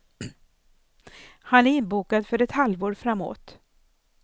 Han är inbokad för ett halvår framåt.